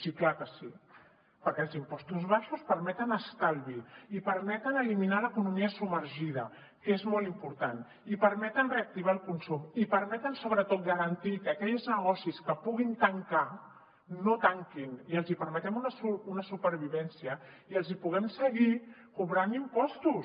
sí clar que sí perquè els impostos baixos permeten estalvi i permeten eliminar l’economia submergida que és molt important i permeten reactivar el consum i permeten sobretot garantir que aquells negocis que puguin tancar no tanquin i els permetem una supervivència i els podem seguir cobrant impostos